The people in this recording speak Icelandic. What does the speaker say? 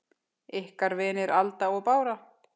Ykkar vinir, Alda og Bára.